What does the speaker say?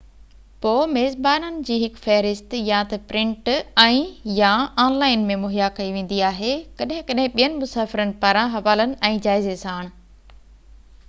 پوءِ ميزبانن جي هڪ فهرست يا ته پرنٽ ۽/يا آن لائن ۾ مهيا ڪئي ويندي آهي، ڪڏهن ڪڏهن ٻين مسافرن پاران حوالن ۽ جائزي ساڻ